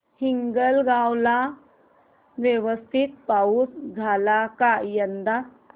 हिंगणगाव ला व्यवस्थित पाऊस झाला का यंदा